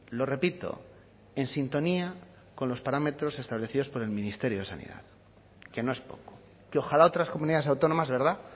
lo repito en sintonía con los parámetros establecidos por el ministerio de sanidad que no es poco que ojalá otras comunidades autónomas verdad